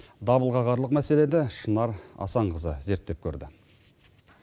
дабыл қағарлық мәселеде шынар асанқызы зерттеп көрді